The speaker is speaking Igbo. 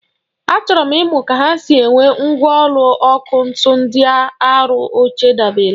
Achọrọ m ịmụ ka ha si ewe mgwọlụ ọkụ ntu ndịa arụ oche ndabere.